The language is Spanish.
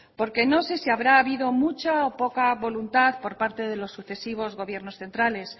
porque no sé si habrá habido mucha o poca voluntad por parte de los sucesivos gobiernos centrales